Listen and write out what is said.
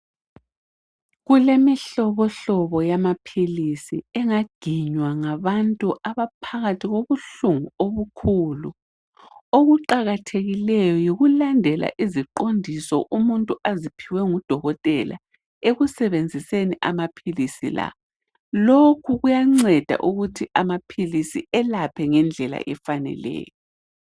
Kulemihlobohlobo yamaphilisi enganginya ngabantu abaphakathi bobuhlungu omkhulu okuqakathekileyo yikulandela iziqondiso umuntu aziphiwe ngudokotela ekusebenziseni amaphilisi la lokhu kuyanceda ukuthi amaphilisi elaphe ngendlela efakeleyo.